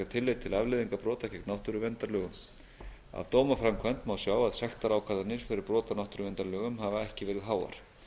tillit til afleiðinga brota gegn náttúruverndarlögum af dómaframkvæmd má sjá að sektarákvarðanir fyrir brot á náttúruverndarlögum hafa ekki verið háar